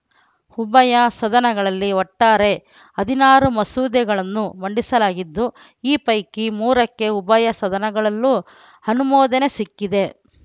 ಉಭಯ ಸದನಗಳಲ್ಲಿ ಒಟ್ಟಾರೆ ಹದಿನಾರು ಮಸೂದೆಗಳನ್ನು ಮಂಡಿಸಲಾಗಿದ್ದು ಈ ಪೈಕಿ ಮೂರಕ್ಕೆ ಉಭಯ ಸದನಗಳಲ್ಲೂ ಅನುಮೋದನೆ ಸಿಕ್ಕಿದೆ